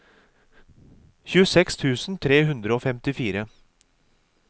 tjueseks tusen tre hundre og femtifire